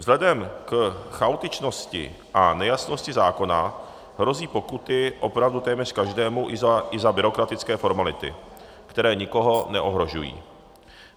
Vzhledem k chaotičnosti a nejasnosti zákona hrozí pokuty opravdu téměř každému i za byrokratické formality, které nikoho neohrožují.